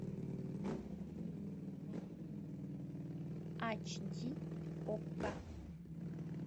ач ди окко